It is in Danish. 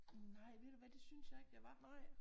Nej ved du hvad det synes jeg ikke jeg var